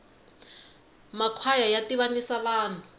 ma kwhaya ya tivanisa vanhu